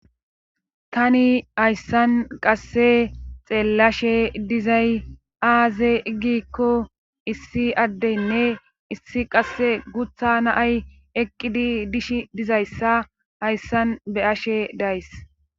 Tani hayssan qasse xeellashe dizay aaze ggikko issi addeynne issi qasse gutha naay eqqidi dish dizayssa hayssan be'ashe days